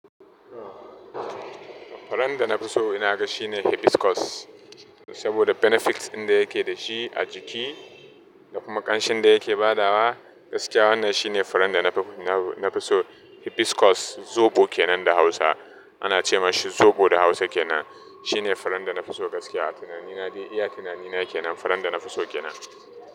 Furen da na fi so ina ga shine hibiscus. Saboda benefits ɗin da yake dashi a jiki da kuma ƙanshin da yake badawa gaskiya wannan shine farin da na fi so. Hibiscus zoɓo kenan da Hausa ana ce mashi zoɓo da Hausa kenan. Shine farin da na fi so gaskiya. Tunani na, iya tunani na kenan farin da na fi so kenan.